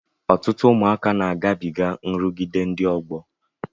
Ọtụtụ ụmụaka na agabiga nrụgide ndị ọgbọ.